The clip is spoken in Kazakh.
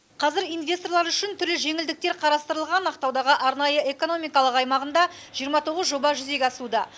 қазір инвесторлар үшін түрлі жеңілдік қарастырылған ақтаудағы арнайы экономикалық аймағында жиырма тоғыз жоба жүзеге асуда